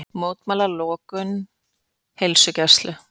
Mótmæla lokun heilsugæslu